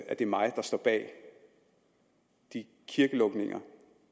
at det er mig der står bag de kirkelukninger